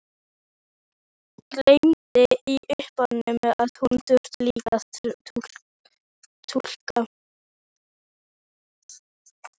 Gleymdi í uppnáminu að hún þurfti líka að túlka.